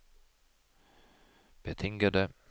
betingede